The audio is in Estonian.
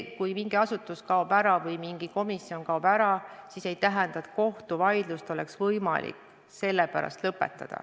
Kui mingi asutus kaob ära või mingi komisjon kaob ära, siis see ei tähenda, et kohtuvaidlus on võimalik selle pärast lõpetada.